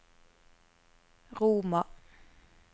Roma